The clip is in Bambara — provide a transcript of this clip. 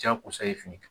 Jakosa ye fini kan